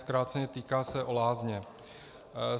Zkráceně, týká se o lázně.